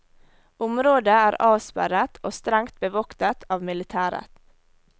Området er avsperret og strengt bevoktet av militæret.